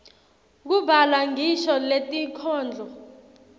kubhalwa ngisho netinkhondlo